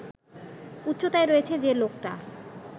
উচ্চতায় রয়েছে যে লোকটা